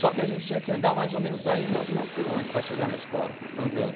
Só que a gente tinha que andar mais ou menos aí uns cinco quilômetros para chegar na escola, andando.